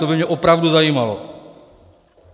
To by mě opravdu zajímalo.